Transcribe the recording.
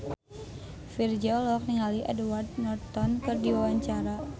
Virzha olohok ningali Edward Norton keur diwawancara